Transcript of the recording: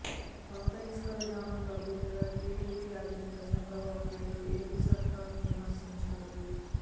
పాత ఇసుక విధానం రద్దు మీద టీడీపీ అధినేత చంద్రబాబునాయుడు ఏపీ సర్కారును విమర్సించారు